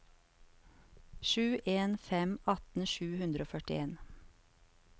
sju en en fem atten sju hundre og førtien